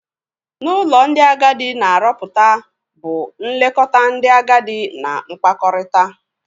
n'ụlọ ndị agadi na aroputa bu nlekọta ndị agadi na-nkpakọrịta.